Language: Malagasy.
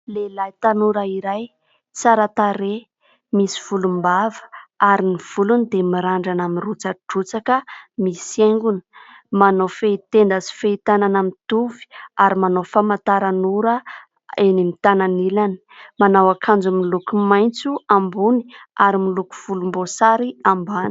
Lehilahy tanora iray tsara tarehy misy volom-bava, ary ny volony dia mirandrana mirotsadrotsaka misy haingony, manao fehi-tenda sy fehi-tanana mitovy ary manao famantaran' ora eny amin'ny tanany ilany. Manao ankanjo miloko maintso ambony ary miloko volom-bosary ambany.